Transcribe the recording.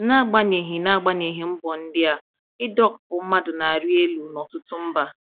N’agbanyeghị N’agbanyeghị mbọ ndị a, ịdọkpụ mmadụ na-arị elu n’ọtụtụ mba.